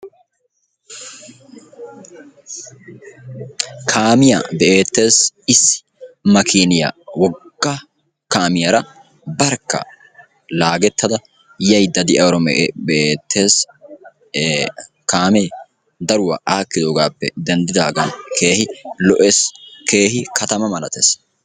Kaamiya be'ettees issi makkiiniya wogga kaamiyara barkka laagettada yayida de'iyaro be'ettees ee kaamee daruwa akkiddoogaappe denddidaagan keehi lo'ees keehi katama malattees.